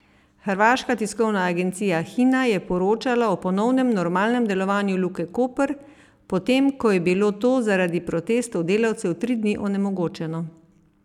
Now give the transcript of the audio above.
Hrvaška tiskovna agencija Hina je poročala o ponovnem normalnem delovanju Luke Koper, potem ko je bilo to zaradi protestov delavcev tri dni onemogočeno.